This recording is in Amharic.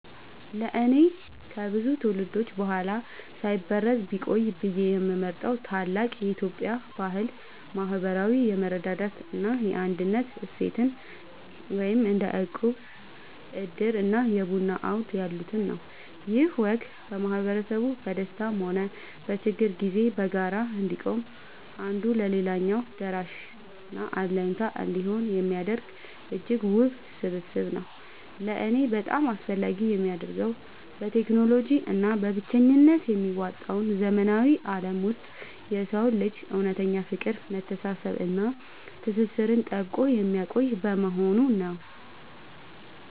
ለእኔ ከብዙ ትውልዶች በኋላ ሳይበረዝ ቢቆይ ብዬ የምመርጠው ታላቅ የኢትዮጵያ ባህል **ማህበራዊ የመረዳዳት እና የአንድነት እሴትን** (እንደ እቁብ፣ ዕድር እና የቡና አውድ ያሉትን) ነው። ይህ ወግ ማህበረሰቡ በደስታም ሆነ በችግር ጊዜ በጋራ እንዲቆም፣ አንዱ ለሌላው ደራሽና አለኝታ እንዲሆን የሚያደርግ እጅግ ውብ ስብስብ ነው። ለእኔ በጣም አስፈላጊ የሚያደርገው፣ በቴክኖሎጂ እና በብቸኝነት በሚዋጠው ዘመናዊ ዓለም ውስጥ የሰውን ልጅ እውነተኛ ፍቅር፣ መተሳሰብ እና ትስስር ጠብቆ የሚያቆይ በመሆኑ ነው።